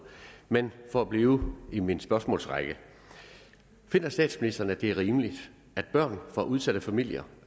men for at blive i min spørgsmålsrække finder statsministeren at det er rimeligt at børn fra udsatte familier